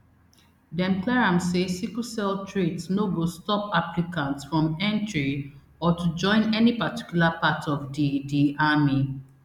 dem clear am say sickle cell trait no go stop applicants from entry or to join any particular part of di di army